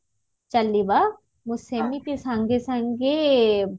ଚାଲିବା ମୁଁ ସେମିତି ସାଙ୍ଗେ ସାଙ୍ଗେ